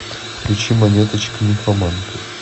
включи монеточка нимфоманка